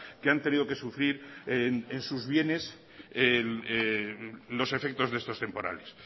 que han tenido que sufrir en sus bienes los efectos de estos temporales